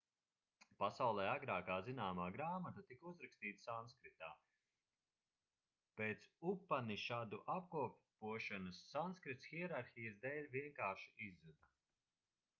pasaulē agrākā zināmā grāmata tika uzrakstīta sanskritā pēc upanišadu apkopošanas sanskrits hierarhijas dēļ vienkārši izzuda